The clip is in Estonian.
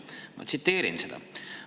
Ma tsiteerin seda.